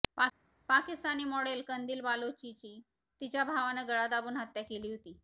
Pakistani model Qandeel बलोचची तिच्या भावानं गळा दाबून हत्या केली होती